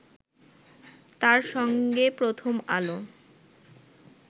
তার সঙ্গে প্রথম আলো